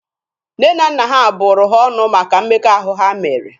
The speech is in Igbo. Nne na nna ha bụrụ ha ọnụ maka mmekọahụ ha mere.